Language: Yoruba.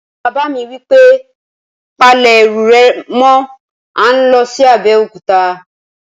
Bàbá mi wí pé, "Pa lẹ̀ ẹrù rẹ̀ mọ́! à ń lọ sí Abéòkúta